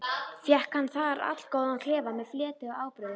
Fékk hann þar allgóðan klefa með fleti og ábreiðum.